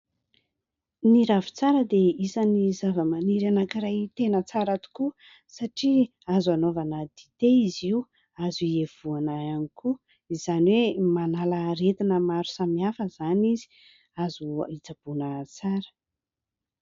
Ny ravintsara dia isany zava-maniry anankiray tena tsara tokoa satria azo anaovana dite izy io, azo ievohana ihany koa, izany hoe manala aretina maro samihafa izany izy, azo hitsaboana tsara.